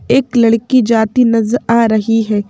एक लड़की जाती नजर आ रही है।